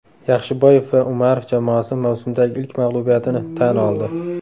Yaxshiboyev va Umarov jamoasi mavsumdagi ilk mag‘lubiyatini tan oldi.